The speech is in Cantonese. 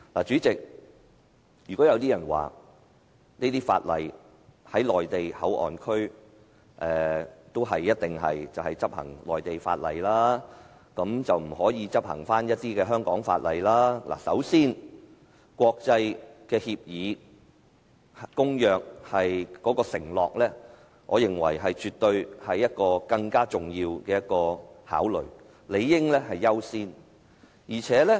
"主席，如果有人說，內地口岸區一定要執行內地法律，不可執行香港法律，首先，我認為香港對國際公約的承諾絕對是更重要的考慮，理應優先。